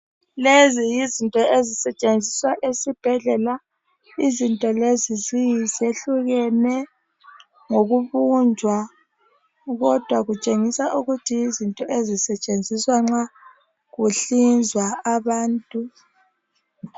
lezi yizinto ezisetshenziswa esibhedlela izinto lezi zi zehlukene ngokubunjwa kodwa kutshengisa ukuthi yizinto ezisetshenziswa nxa kuhlinzwa abantu